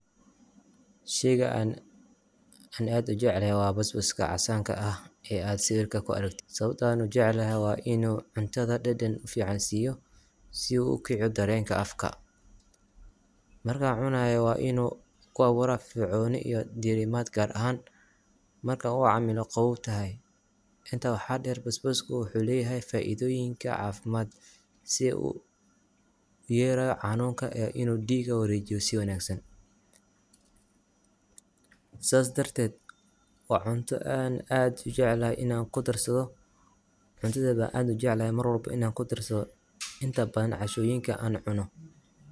Sheyga aan aad ujeclahy waa basbaska casanka ah eh aad sibirka kuaragtit sababto ah neh waa inu cuntadha dadan fican siyo sii uu ukiciyo darenka afka, marku cunayo wa inu ku abura firfirconi iyo dirimad gar ahan marka ucamilo qabowtahy, inta waxa der basbasku wuxu leyahy faidoyinka cafimad sii uu uyareyo xanunka yareynayo inu diga warejiyo si wanagsan, sas dartet waa cunto aan aad ujeclahy inan kudarsadho, cuntadha ban aad ujeclahy inan kudarsadho inta badhan cashoyinka aan cuno.